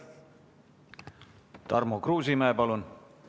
Tarmo Kruusimäe, palun!